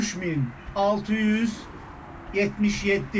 3677.